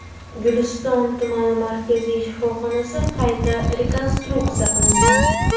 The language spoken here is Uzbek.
Guliston tumani markaziy shifoxonasi qayta rekonstruksiya qilindi.